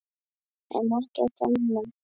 en ekkert annað.